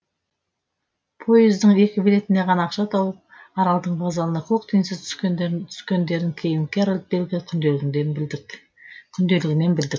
поездің екі билетіне ғана ақша тауып аралдың вокзалына көк тиынсыз түскендерін кейін герольд бельгер күнделігінен білдік